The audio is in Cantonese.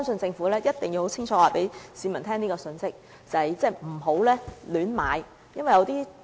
政府一定要清楚告知市民，不要胡亂購買龕位。